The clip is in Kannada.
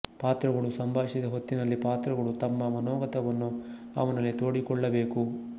ಪಾತ್ರಗಳು ಸಂಭಾಷಿಸದ ಹೊತ್ತಿನಲ್ಲಿ ಪಾತ್ರಗಳು ತಮ್ಮ ಮನೋಗತವನ್ನು ಅವನಲ್ಲಿ ತೋಡಿಕೊಳ್ಳಬೇಕು